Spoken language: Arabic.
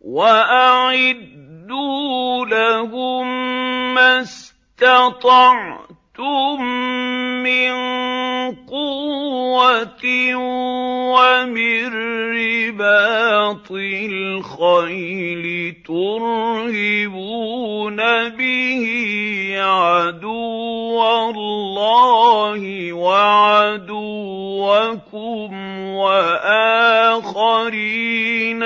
وَأَعِدُّوا لَهُم مَّا اسْتَطَعْتُم مِّن قُوَّةٍ وَمِن رِّبَاطِ الْخَيْلِ تُرْهِبُونَ بِهِ عَدُوَّ اللَّهِ وَعَدُوَّكُمْ وَآخَرِينَ